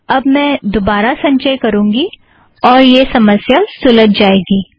अब मैं दोबारा संचय करुँगी और यह समस्या सुलज जाएगी